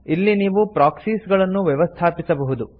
ಇಲ್ಲಿ ನೀವು ಪ್ರಾಕ್ಸೀಸ್ಗಳನ್ನು ವ್ಯವಸ್ಥಾಪಿಸಬಹುದು